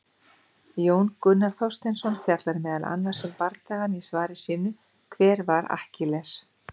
Jón Gunnar Þorsteinsson fjallar meðal annars um bardagann í svari sínu, Hver var Akkiles?